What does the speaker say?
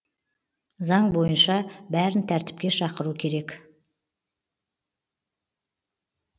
заң бойынша бәрін тәртіпке шақыру керек